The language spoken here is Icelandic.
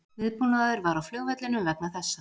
Viðbúnaður var á flugvellinum vegna þessa